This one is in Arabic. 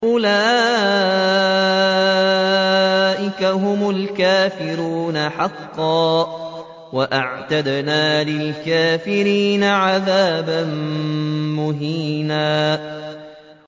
أُولَٰئِكَ هُمُ الْكَافِرُونَ حَقًّا ۚ وَأَعْتَدْنَا لِلْكَافِرِينَ عَذَابًا مُّهِينًا